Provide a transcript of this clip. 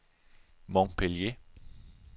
Montpellier